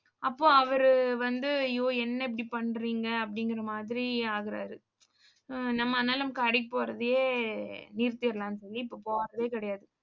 அப்போ அவரு வந்து ஐயோ என்ன இப்படி பண்றீங்க அப்படிங்கற மாதிரி ஆகறாரு நம்ம அதனால கடைக்கு போறதையே நிறுத்திரலாம்னு சொல்லி இப்ப போறதே கிடையாது.